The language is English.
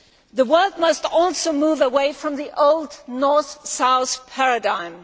The world must also move away from the old north south paradigm.